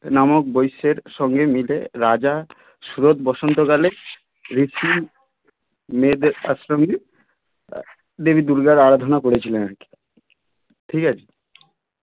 নামক বৈশ্যের সঙ্গে মিলে রাজা স্রোত বসন্ত কালে রীতি মেনে মেয়েদের দেবী দুর্গার আরাধনাও করেছিলেন আর কি ঠিক আছে